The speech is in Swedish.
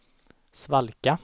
svalka